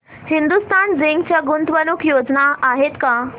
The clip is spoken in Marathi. हिंदुस्तान झिंक च्या गुंतवणूक योजना आहेत का